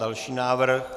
Další návrh.